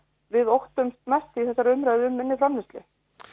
við óttumst mest í þessari umræðu um minni framleiðslu